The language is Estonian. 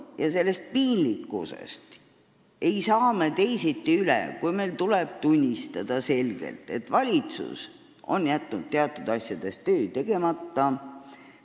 Ja sellest piinlikkusest ei saa me teisiti üle, kui meil tuleb selgelt tunnistada, et valitsus on teatud asjades töö tegemata jätnud.